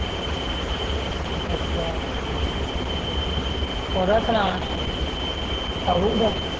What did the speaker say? ਅੱਛਾ ਓਦਾ ਸੁਣਾ ਦਾ